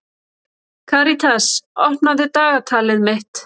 Karitas, opnaðu dagatalið mitt.